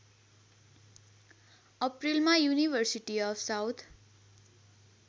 अप्रिलमा university of south